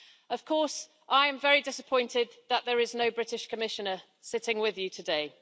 Of course, I am very disappointed that there is no British Commissioner sitting with you today.